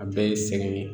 A bɛɛ ye sɛgɛn ye